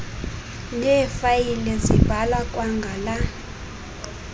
neefayile zibhalwa kwangala